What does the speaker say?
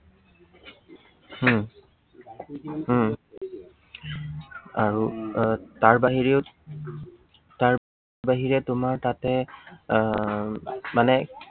উম হম আৰু তাৰ বাহিৰেও তাৰ বাহিৰে তোমাৰ তাতে আহ মানে